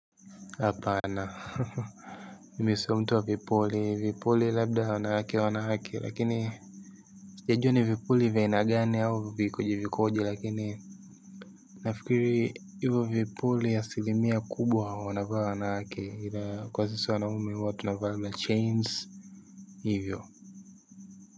Hapana mimi sio mtuwa vipuli vipuli labda wanawake wanawake, lakini ya juu ni vipuli vya aina gani au vikuji vikuji lakini nafikiri. Hivyo vipuli, asilimia kubwa wanavaa wanawake, ila kwa sisi wanaume huwa tuna vaa machains hivyo.